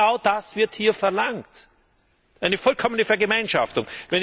Aber genau das wird hier verlangt eine vollkommene Vergemeinschaftung.